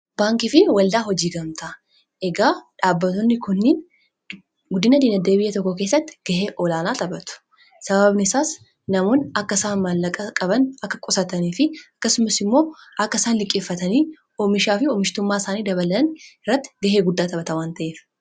baankii fi waldaa hojii gamtaa egaa dhaabbatunni kunniin guddina diina deebiyya tokko keessatti gahee olaanaa xaphatu sababni isaas namoon akka isaan mallaqa qaban akka qusatanii fi akkasumas immoo akka isaan liqqeeffatanii omishaa fi oomishtummaa isaanii dabalaan irratti gahee guddaa xaphatawwan ta'eef